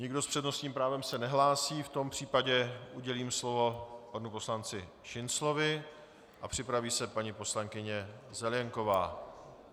Nikdo s přednostním právem se nehlásí, v tom případě udělím slovo panu poslanci Šinclovi a připraví se paní poslankyně Zelienková.